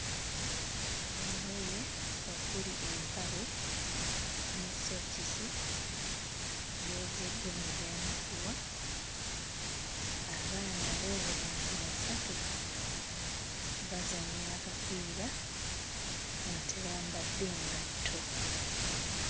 Engoye okuli empale ne sookisi byozeddwa ne byanikibwa. Abaana ab'obulenzi basatu bazannya akapiira nga tebambadde ngatto.